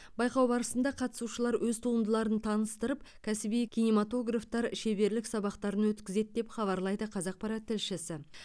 байқау барысында қатысушылар өз туындыларын таныстырып кәсіби киноматографтар шеберлік сабақтар өткізеді деп хабарлайды қазақпарат тілшісі